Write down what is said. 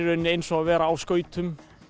rauninni eins og að vera á skautum